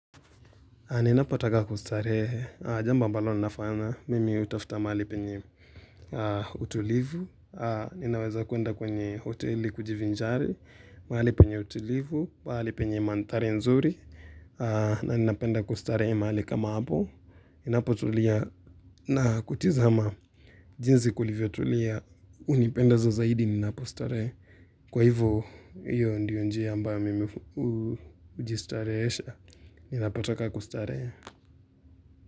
Ninapotaka kustarehe, jambo ambalo ninafanya, mimi hutafuta mahali penye utulivu, ninaweza kuenda kwenye hoteli kujivinjari, mahali penye utulivu, mahali penye manthari nzuri, na ninapenda kustarehe mahali kama hapo, ninapotulia na kutizama jinsi kulivyo tulia hunipenda zaidi ninapostarehe, kwa hivyo hiyo ndiyo njia ambayo mimi hujistarehesha ninapotaka kustarehe.